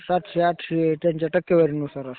सातशे-आठशे. त्यांच्या टक्केवारीनुसार असतं ते.